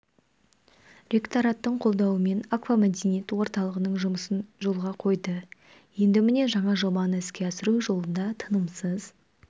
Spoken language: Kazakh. ректораттың қолдауымен аквамәдениет орталығының жұмысын жолға қойды енді міне жаңа жобаны іске асыру жолында тынымсыз